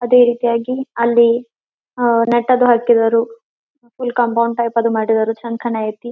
ಅದೇ ರೀತಿಯಾಗಿ ಅಲ್ಲಿ ಅಹ್ ನಟ್ಟದ್ದು ಹಾಕಿದ್ದರು ಫುಲ್ ಕಾಂಪೌಂಡ್ ಟೈಪ್ ಅದು ಮಾಡಿದರು ಚನ್ನಕಾಣ್ ಯತಿ.